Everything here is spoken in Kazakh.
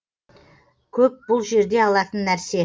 көп бұл жерде алатын нәрсе